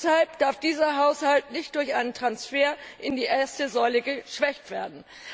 Deshalb darf dieser Haushalt nicht durch einen Transfer in die erste Säule geschwächt werden.